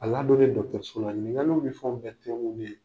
ɲininkaliw bɛ fɛnw bɛɛ tɛnguli ye.